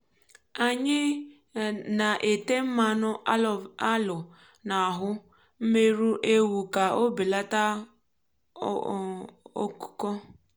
anyị um na-ete mmanụ aloe n’ahú mmerụ ewu ka ọ bèlátá òkùkò.